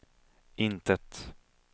intet